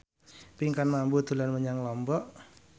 Pinkan Mambo dolan menyang Lombok